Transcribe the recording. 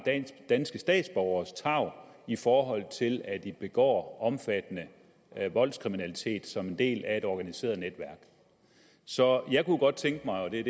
danske statsborgere i forhold til at de begår omfattende voldskriminalitet som en del af et organiseret netværk så jeg kunne godt tænke mig og det er